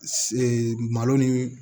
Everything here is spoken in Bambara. malo ni